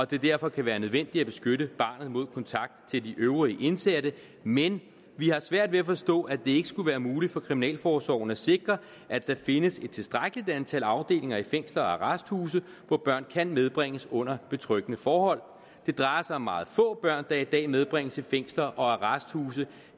det derfor kan være nødvendigt at beskytte barnet mod kontakten til de øvrige indsatte men vi har svært ved at forstå at det ikke skulle være muligt for kriminalforsorgen at sikre at der findes et tilstrækkeligt antal afdelinger i fængsler og arresthuse hvor børn kan medbringes under betryggende forhold det drejer sig om meget få børn der i dag medbringes i fængsler og arresthuse